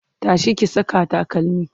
tashi ki Saka takalmi!